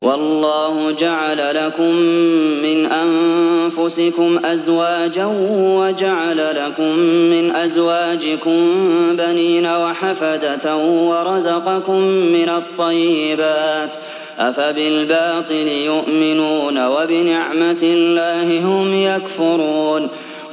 وَاللَّهُ جَعَلَ لَكُم مِّنْ أَنفُسِكُمْ أَزْوَاجًا وَجَعَلَ لَكُم مِّنْ أَزْوَاجِكُم بَنِينَ وَحَفَدَةً وَرَزَقَكُم مِّنَ الطَّيِّبَاتِ ۚ أَفَبِالْبَاطِلِ يُؤْمِنُونَ وَبِنِعْمَتِ اللَّهِ هُمْ يَكْفُرُونَ